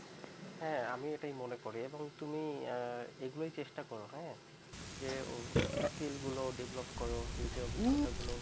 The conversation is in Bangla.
হ্যাঁ আমি এটাই মনে করি এবং তুমি এগুলোই চেষ্টা কর হ্যাঁ যে skill গুলো develop করো নিজের অভিজ্ঞতাগুলো